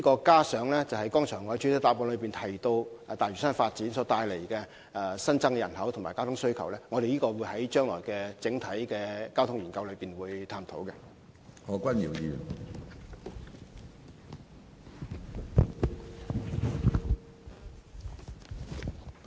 加上我剛才在主體答覆中提及大嶼山發展帶來的新增人口和交通需求，我們在將來進行整體交通研究時當會一併探討。